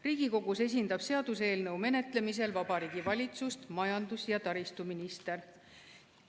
Riigikogus esindab seaduseelnõu menetlemisel Vabariigi Valitsust majandus- ja taristuminister.